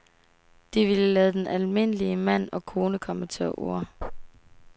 De ville lade den almindelige mand og kone komme til orde.